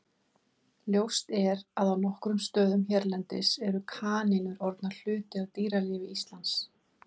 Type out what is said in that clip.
Ljóst er að á nokkrum stöðum hérlendis eru kanínur orðnar hluti af dýralífi Íslands.